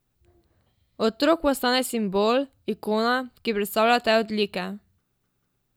Otrok postane simbol, ikona, ki predstavlja te odlike.